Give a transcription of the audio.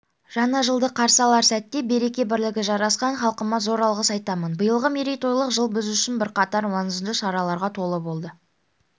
жаңа жылды қарсы алар сәтте береке-бірлігі жарасқан халқыма зор алғыс айтамын биылғы мерейтойлық жыл біз үшін бірқатар маңызды шараларға толы болды